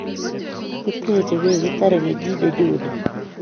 Kiteche kooi kitare kenyit nenyone